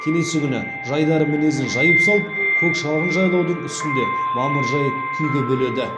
келесі күні жайдары мінезін жайып салып көк шалғын жайлаудың үстінде мамыржай күйге бөледі